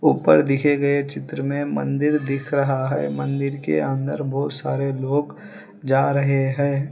ऊपर दिखे गए चित्र में मंदिर दिख रहा है मंदिर के अंदर बहुत सारे लोग जा रहे हैं।